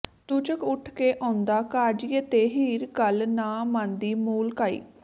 ਚੂਚਕ ਉੱਠ ਕੇ ਆਉਂਦਾ ਕਾਜ਼ੀਏ ਤੇ ਹੀਰ ਗੱਲ ਨਾ ਮੰਨਦੀ ਮੂਲ ਕਾਈ